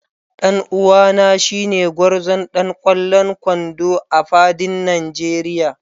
Dan uwana shine gwarzon ɗan kwallon kwando a fadin Nigeria